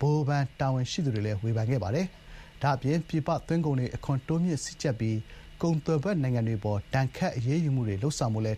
ဟိုဘဏ် တာဝန်ရှိသူတွေကိုလည်း ဝေဖန်ခဲ့ပါတယ်။ ဒါ့အပြင်ပြည်ပ သွင်းကုန်တွေကို အခွန်တိုးမြှင့် စည်းကြပ်ပြီး ကုန်သွယ်ဖက်နိုင်ငံတွေ အပေါ် ဒဏ်ခတ်အရေးယူမှုတွေ လုပ်ဆောင်ဖို့လည်း